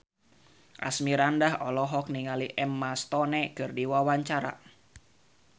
Asmirandah olohok ningali Emma Stone keur diwawancara